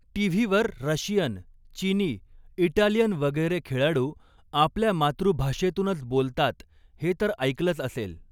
TV वर Russian, चिनी, Italian वगैरे खेळाडू आपल्या मातृभाषेतूनच बोलतात हे तर ऐकलचं असेल.